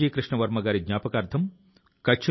సమాధానం మీ ఆశ్చర్యాన్ని మరింత పెంచుతుంది